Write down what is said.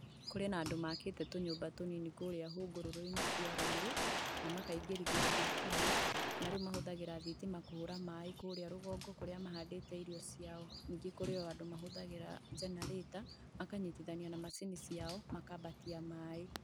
Kũrĩ na andũ makĩte tũnyũmba tũnini kũrĩa hũngũrũrũ-inĩ cia rũĩ na makaingĩrithia thitima, na rĩu mahũthagĩra thitima kũhũra maĩ kũrĩa rũgongo kũria mahandĩte irio ciao. Ningĩ kũrĩ o andũ mahothagĩra generator makanyitithania na macini ciao makambatia maĩ.